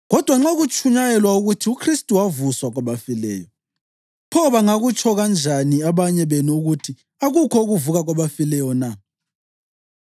Kodwa nxa kutshunyayelwa ukuthi uKhristu wavuswa kwabafileyo, pho bangakutsho kanjani abanye benu ukuthi akukho ukuvuka kwabafileyo na?